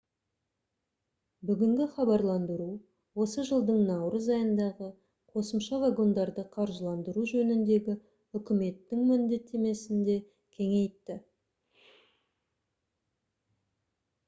бүгінгі хабарландыру осы жылдың наурыз айындағы қосымша вагондарды қаржыландыру жөніндегі үкіметтің міндеттемесін де кеңейтті